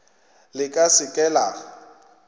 le ka se ke la